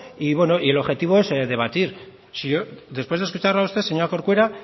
y bueno y el objetivo es debatir si yo después de escucharla a usted señora corcuera